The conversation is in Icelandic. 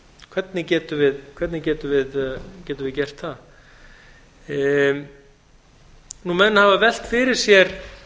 við að taka afstöðu til þess hvernig getum við gert það menn hafa velt fyrir sér